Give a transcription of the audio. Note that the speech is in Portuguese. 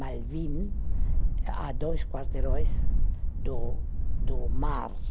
Malvín, a dois quarteirões do do mar.